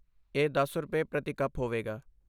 ਇਹ ਦਸ ਰੁਪਏ, ਪ੍ਰਤੀ ਕੱਪ ਹੋਵੇਗਾ